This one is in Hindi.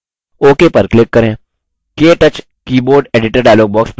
ktouch keyboard editor dialog box प्रदर्शित होता है